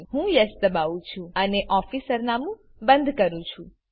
હું યેસ દબાવું છું અને ઓફીસ સરનામું બંધ કરું છું